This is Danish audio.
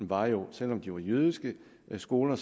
var jo at selv om de var jødiske skoler